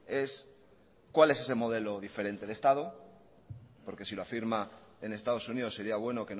es cuál es ese modelo diferente de estado porque si lo afirma en estados unidos sería bueno